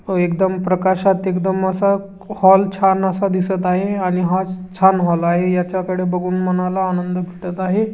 तो एकदम प्र्कशात एकदम असा हॉल छान असा दिसत आहे आणि हा छान हॉल आहे याचा कड़े बघून मानाल आनंद भेटत आहे.